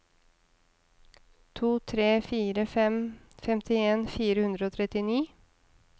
to tre fire fem femtien fire hundre og trettini